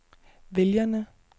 vælgerne